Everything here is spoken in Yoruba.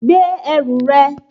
Gbé ẹrù rẹ